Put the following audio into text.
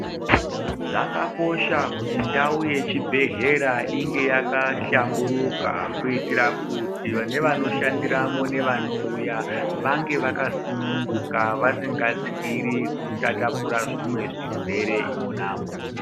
Zvakakosha kuti ndau yechibhedhlera inge yakahlamburika kuitira kuti nevanoshandiramo nevanouya vange vakasununguka vasingatyiri kutatapura zvimwe zvirwere mona umomo.